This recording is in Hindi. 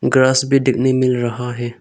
ग्रास भी देखने मिल रहा है।